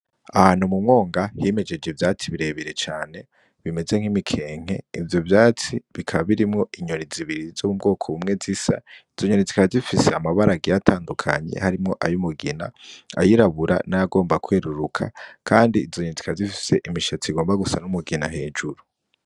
Ahantu m'umwomga himejeje ivyatsi birebire cane bimeze nk 'imikenke ,ivyo vyatsi bikaba birimwo inyoni zibiri z'ubwoko bumwe zisa, izo nyoni zikaba zifise amabara agiye atandukanye harimwo ay'umugina , ayirabura n'ayagomba kweruruka kandi izo nyoni zikaba zifise umushatsi ushaka gusa n'umugina hejuru.